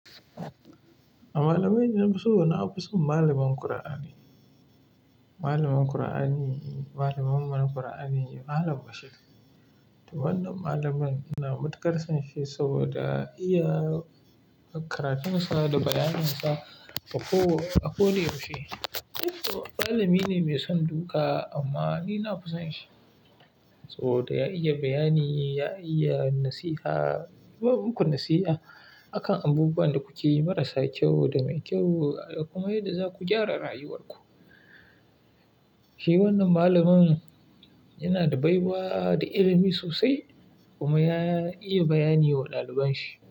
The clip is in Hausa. Malamai na fuso, na fi son malamin Kur'ani. Malamin Kur'ani, malamin man Kur'ani, Malam Bashir. Wannan malamin na matuƙar son shi saboda iya karatunsa da bayaninsa a ko wace abu da yaushe. Saboda malamine mai son duka amma ni na fison shi saboda ya iya bayani, ya iya nasiha. Ya ba muku nasiha a kan abubuwan da kuke yi marasa kyau da mai kyau kuma yadda za ku gyara rayuwarku. Shi wannan malamin yana da baiwa da ilimi sosai kuma ya iya bayani wa ɗaliban shi.